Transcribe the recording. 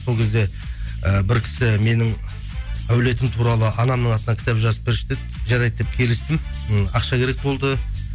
сол кезде і бір кісі менің әулетім туралы анамның атынан кітап жазып берші деді жарайды деп келістім м ақша керек болды